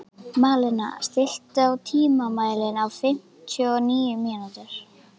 Malena, stilltu tímamælinn á fimmtíu og níu mínútur.